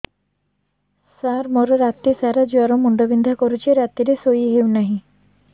ସାର ମୋର ରାତି ସାରା ଜ୍ଵର ମୁଣ୍ଡ ବିନ୍ଧା କରୁଛି ରାତିରେ ଶୋଇ ହେଉ ନାହିଁ